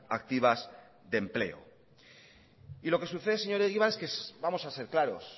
activas de empleo y lo que sucede señor egibar es que vamos a ser claro